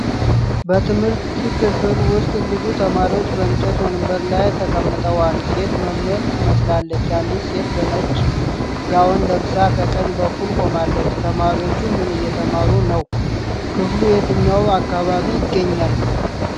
በትምህርት ክፍል ውስጥ ብዙ ተማሪዎች በእንጨት ወንበሮች ላይ ተቀምጠዋል። ሴት መምህር ትመስላለች አንዲት ሴት በነጭ ጋዋን ለብሳ ከቀኝ በኩል ቆማለች። ተማሪዎቹ ምን እየተማሩ ነው? ክፍሉ የትኛው አካባቢ ይገኛል?